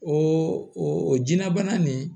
O o jinɛbana nin